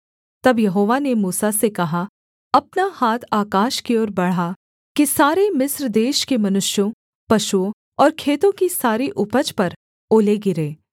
तब यहोवा ने मूसा से कहा अपना हाथ आकाश की ओर बढ़ा कि सारे मिस्र देश के मनुष्यों पशुओं और खेतों की सारी उपज पर ओले गिरें